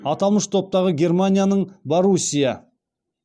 аталмыш топтағы германияның боруссия